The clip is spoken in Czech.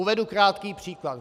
Uvedu krátký příklad.